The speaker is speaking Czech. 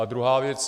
A druhá věc.